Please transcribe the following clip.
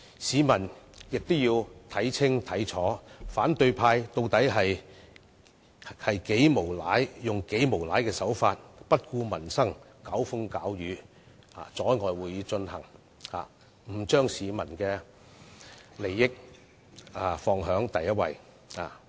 市民亦要看清楚，反對派議員竟然採取無賴的手法，不顧民生，興風作浪，阻礙會議進行，拒絕把市民的利益放在首位。